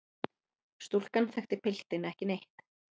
Stúlkan þekkti piltinn ekki neitt.